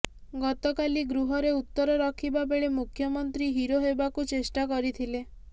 ଗତକାଲି ଗୃହରେ ଉତ୍ତର ରଖିବା ବେଳେ ମୁଖ୍ୟମନ୍ତ୍ରୀ ହିରୋ ହେବାକୁ ଚେଷ୍ଟା କରିଥିଲେ